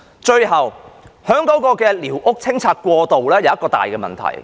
最後，是清拆寮屋的過渡安排有一大問題。